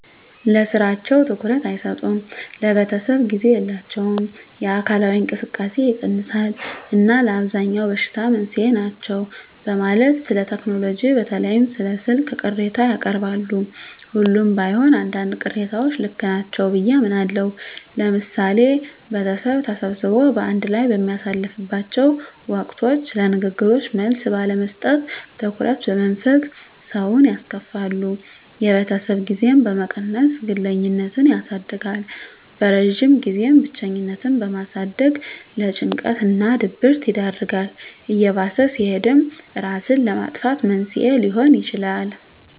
ለስራቸው ትኩረት አይሰጡም፣ ለቤተሰብ ጊዜ የላቸውም፣ የአካላዊ እንቅስቃሴ ይቀንሳል እና ለአብዛኛው በሽታ መንስኤ ናቸው በማለት ስለቴክኖሎጂ በተለይም ስለ ስልክ ቅሬታ ያቀርባሉ። ሁሉም ባይሆን አንዳንድ ቅሬታዎች ልክ ናቸው ብየ አምናለሁ። ለምሳሌ ቤተሰብ ተሰብስቦ በአንድ ላይ በሚያሳልፍላቸው ወቅቶች ለንግግሮች መልስ ባለመስጠት፣ ትኩረት በመንፈግ ሰውን ያስከፋሉ። የቤተሰብ ጊዜን በመቀነስ ግለኝነትን ያሳድጋል። በረጅም ጊዜም ብቸኝነትን በማሳደግ ለጭንቀት እና ድብረት ይዳርጋል። እየባሰ ሲሄድም እራስን ለማጥፋት መንስኤ ሊሆን ይችላል።